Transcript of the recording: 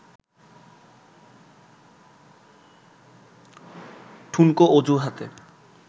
ঠুনকো অজুহাতে